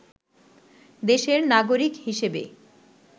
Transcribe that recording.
দেশের নাগরিক হিসেবে